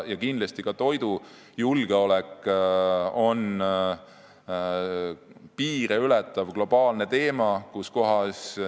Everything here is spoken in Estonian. Kindlasti on ka toidujulgeolek piire ületav globaalne teema.